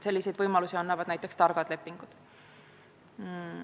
Sellise võimaluse annavad näiteks targad lepingud.